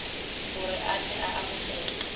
gore a tle a amogelwe